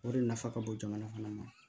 O de nafa ka bon jamana fana ma